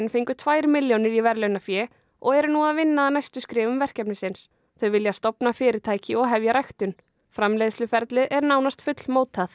fengu tvær milljónir í verðlaunafé og eru nú að vinna að næstu skrefum verkefnisins þau vilja stofna fyrirtæki og hefja ræktun framleiðsluferlið er nánast fullmótað